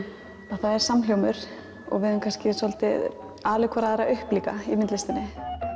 að það er samhljómur og við höfum kannski svolítið alið hvora aðra upp líka í myndlistinni